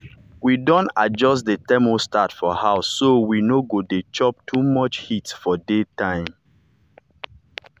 we don adjust the thermostat for house so we no go dey chop too much heat for daytime.